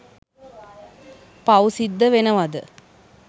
පව් සිද්ද වෙනවද?